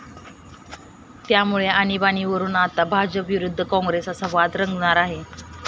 त्यामुळे आणिबाणीवरुन आता भाजप विरुद्ध काँग्रेस असा वाद रंगणार आहे.